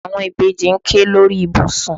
Àwọn ìbejì ń ké lórí ìbùsùn.